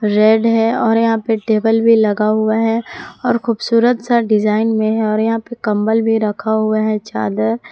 red है और यहां पे टेबल भी लगा युवा है और खूबसूरत सा डिजाइन में है और यहां पे कंबल भी रखा हुआ है चादर--